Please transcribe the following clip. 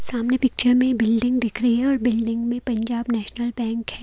सामने पिक्चर में बिल्डिंग दिख रही है और बिल्डिंग में पंजाब नेशनल बैंक है।